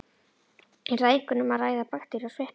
Er þar einkum um að ræða bakteríur og sveppi.